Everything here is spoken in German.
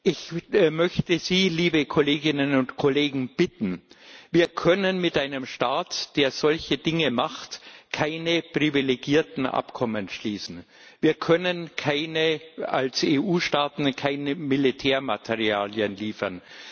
Ich möchte Sie, liebe Kolleginnen und Kollegen, bitten Wir können mit einem Staat, der solche Dinge macht, keine privilegierten Abkommen schließen, wir können als EU Staaten keine Militärmaterialien liefern.